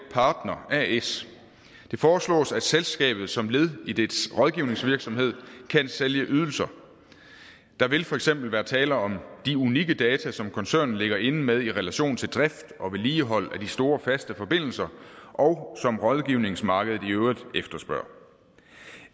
partner as det foreslås at selskabet som led i dets rådgivningsvirksomhed kan sælge ydelser der vil for eksempel være tale om de unikke data som koncernen ligger inde med i relation til drift og vedligehold af de store faste forbindelser og som rådgivningsmarkedet i øvrigt efterspørger